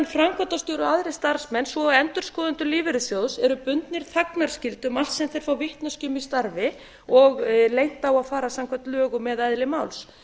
framkvæmdastjóri og aðrir starfsmenn svo og endurskoðendur lífeyrissjóðs eru bundnir þagnarskyldu um allt sem þeir fá vitneskju um í starfi og leynt á að fara samkvæmt lögum eða eðli máls